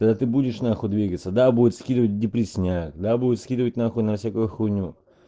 да ты будешь на хуй двигаться да будет скидывать в депрессняк да будет скидывать на хуй на всякую хуйню